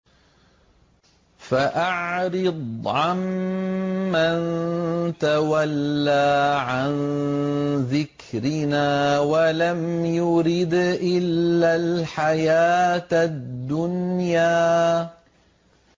فَأَعْرِضْ عَن مَّن تَوَلَّىٰ عَن ذِكْرِنَا وَلَمْ يُرِدْ إِلَّا الْحَيَاةَ الدُّنْيَا